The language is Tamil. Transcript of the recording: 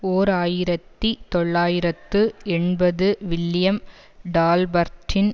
ஓர் ஆயிரத்தி தொள்ளாயிரத்து எண்பது வில்லியம் டால்பர்ட்டின்